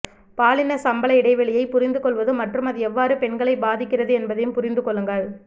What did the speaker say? பாலின சம்பள இடைவெளியை புரிந்துகொள்வது மற்றும் அது எவ்வாறு பெண்களை பாதிக்கிறது என்பதையும் புரிந்து கொள்ளுங்கள்